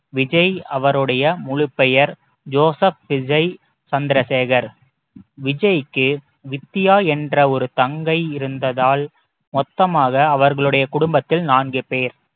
விஜய் அவருடைய முழுப்பெயர் ஜோசப் விஜய் சந்திரசேகர் விஜய்க்கு வித்தியா என்ற ஒரு தங்கை இருந்ததால் மொத்தமாக அவர்களுடைய குடும்பத்தில் நான்கு பேர்